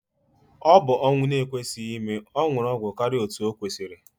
Ọbụ ọnwụ na ekwesị ime, ọnwuru ọgwụ karịa otú okwesiri